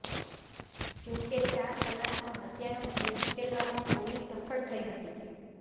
જો કે ચાર કલાકમાં હત્યાનો ભેદ ઉકેલવામાં પોલીસ સફળ થઇ હતી